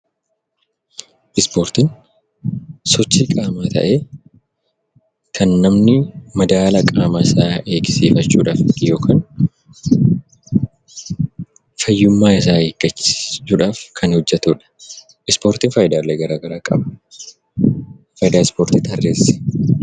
Ispoortiin sochii qaamaa ta'ee kan namni madaala qaamasaa eegsiifachuudhaaf yokaan fayyummaasaa eeggachuudhaaf kan hojjetudha. Ispoortin faayidaalee garaa garaa qaba. Faayidaa ispoortii tarreessi.